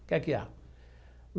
O que é que há?